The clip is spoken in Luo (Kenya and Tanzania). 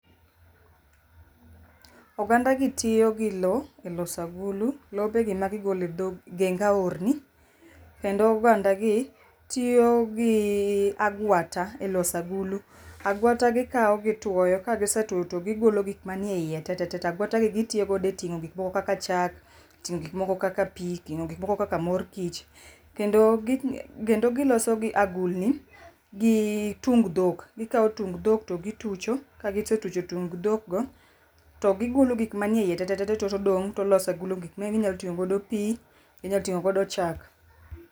Oganda gi tiyogi lowo eloso agulu. Lobegi magigolo egeng aorni kendo ogandagi tiyogii agwata eloso agulu. Agwata gikawo gituoyo kagisetuo to gi golo gik manie eiye tete. To agwata gi gitiyo godo eting'o gik moko kaka chak, ting'o gik moko kaka pii ting'o gik moko kaka mor kich. Kendo kendo giloso gi agulni gi tung dhok. Gikawo tung dhok togitucho. Kaisetucho tung dhokgo to gigolo gik manie eiye tete .Todong' toloso agulu gik minyating'o godo pii inyalo ting'o godo chak